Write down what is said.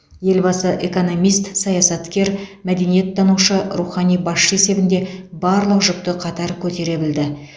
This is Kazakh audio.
елбасы экономист саясаткер мәдениеттанушы рухани басшы есебінде барлық жүкті қатар көтере білді